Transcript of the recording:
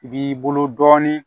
I b'i bolo dɔɔnin